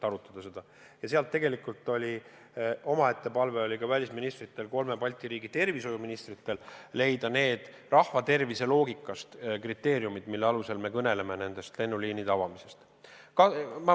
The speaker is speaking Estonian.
Välisministrite omaette palve kolme Balti riigi tervishoiuministritele oli määrata rahva tervise huvidest lähtuvad kriteeriumid, mille alusel me kõneleme lennuliinide avamisest.